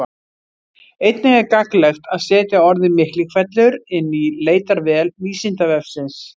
Einnig er gagnlegt að setja orðið Miklihvellur inn í leitarvél Vísindavefsins.